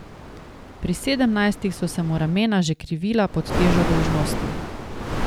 Pri sedemnajstih so se mu ramena že krivila pod težo dolžnosti.